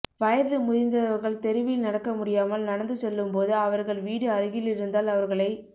வயது முதிந்தவர்கள் தெருவில் நடக்க முடியாமல் நடந்து செல்லும்போது அவர்கள் வீடு அருகிலிருந்தால் அவர்களை